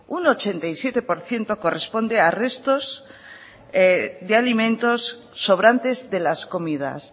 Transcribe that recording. un ochenta y siete por ciento corresponden a restos de alimentos sobrantes de las comidas